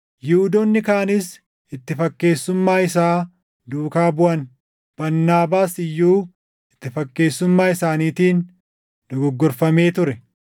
Yihuudoonni kaanis itti fakkeessummaa isaa duukaa buʼan; Barnaabaas iyyuu itti fakkeessummaa isaaniitiin dogoggorfamee ture.